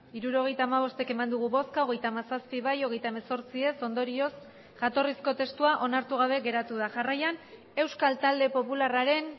hirurogeita hamabost eman dugu bozka hogeita hamazazpi bai hogeita hemezortzi ez ondorioz jatorrizko testua onartu gabe geratu da jarraian euskal talde popularraren